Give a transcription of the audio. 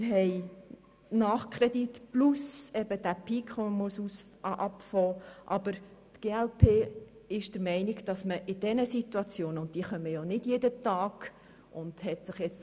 Wir haben Nachkredite plus einen Peak, aber die glp-Fraktion ist der Meinung, solche Situationen müsse man nicht buchstabengetreu, sondern eben pragmatisch angehen.